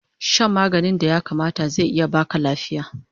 Shan maganin da ya kamata zai iya baka lafiya